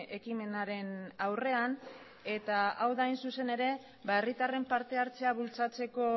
ekimenaren aurrean eta hau da hain zuzen ere herritarren partehartzea bultzatzeko